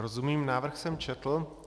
Rozumím, návrh jsem četl.